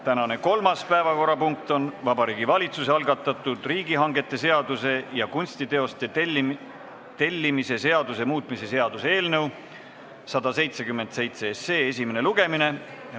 Tänane kolmas päevakorrapunkt on Vabariigi Valitsuse algatatud riigihangete seaduse ja kunstiteoste tellimise seaduse muutmise seaduse eelnõu 177 esimene lugemine.